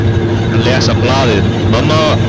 Hann er að lesa blaðið, mamma!